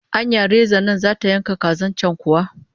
Anya rezan nan zata yanka kazar can kuwa?